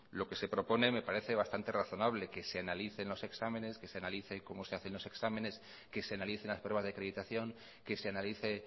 lo que se propone me parece bastante razonable que se analicen los exámenes que se analicen cómo se hacen los exámenes que se analicen las pruebas de acreditación que se analice